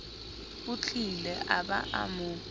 otlile a ba a mo